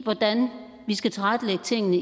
hvordan vi skal tilrettelægge tingene